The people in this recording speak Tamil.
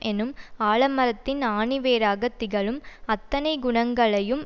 எனும் ஆலமரத்தின் ஆணிவேராக திகழும் அத்தனை குணங்களையும்